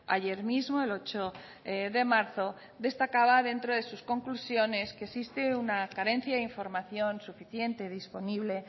ayer mismo el ocho de marzo destacaba dentro de sus conclusiones que existe una carencia de información suficiente disponible